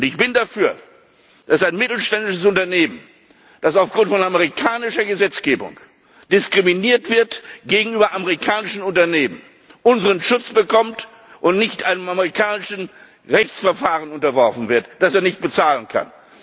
haben. Ich bin dafür, dass ein mittelständisches Unternehmen, das aufgrund von amerikanischer Gesetzgebung diskriminiert wird gegenüber amerikanischen Unternehmen, unseren Schutz bekommt und nicht einem amerikanischen Rechtsverfahren unterworfen wird, das es nicht bezahlen